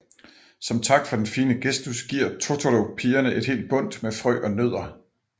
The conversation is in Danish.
Som tak for den fine gestus giver Totoro pigerne et helt bundt med frø og nødder